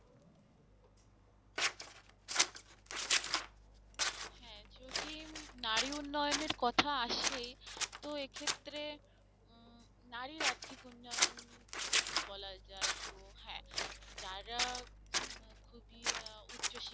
যদি উম নারী উন্নয়নের কথা আসে তো এক্ষেত্রে উম নারীর আর্থিক উন্নয়ন যদি বলা যায় তো হ্যাঁ যারা উম আহ খুবই আহ উচ্চ~